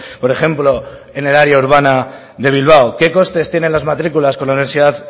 por ejemplo en el área urbana de bilbao qué coste tienen las matriculas con la universidad